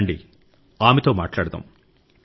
రండి ఆమెతో మాట్లాడదాం